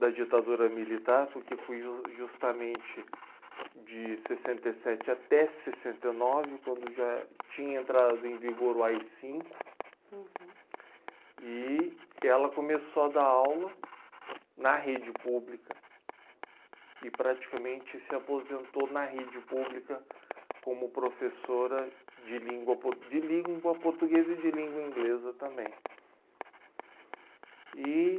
da ditadura militar porque foi ju justamente de sessenta e sete até sessenta e nove quando já tinha entrado em vigor o AI Cinco... Uhum... E ela começou a dar aula na rede pública e praticamente se aposentou na rede pública como professora de língua por de língua portuguesa e de língua inglesa também e